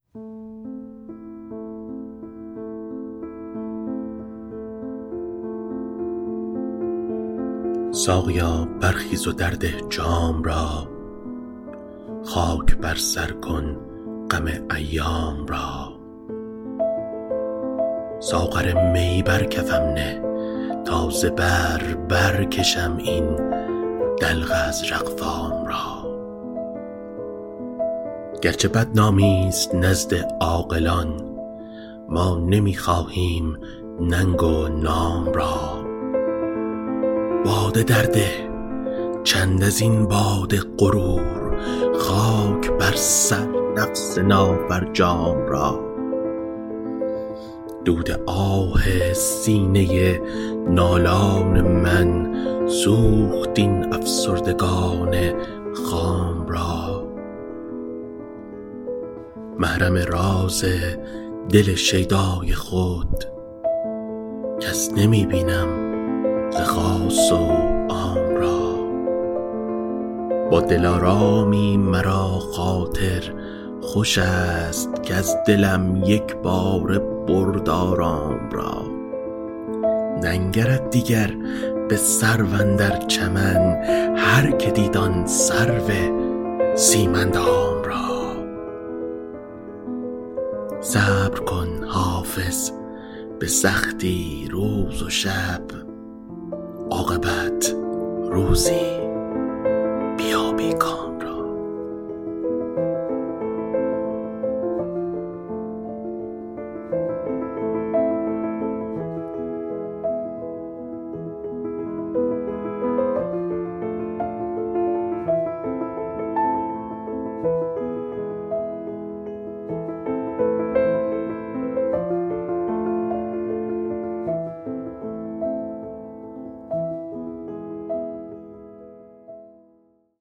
ساقیا برخیز و درده جام را خاک بر سر کن غم ایام را ساغر می بر کفم نه تا ز بر برکشم این دلق ازرق فام را گرچه بدنامی ست نزد عاقلان ما نمی خواهیم ننگ و نام را باده درده چند از این باد غرور خاک بر سر نفس نافرجام را دود آه سینه نالان من سوخت این افسردگان خام را محرم راز دل شیدای خود کس نمی بینم ز خاص و عام را با دلارامی مرا خاطر خوش است کز دلم یک باره برد آرام را ننگرد دیگر به سرو اندر چمن هرکه دید آن سرو سیم اندام را صبر کن حافظ به سختی روز و شب عاقبت روزی بیابی کام را